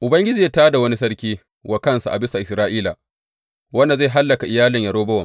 Ubangiji zai tā da wani sarki wa kansa a bisa Isra’ila wanda zai hallaka iyalin Yerobowam.